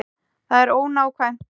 Það er ónákvæmt.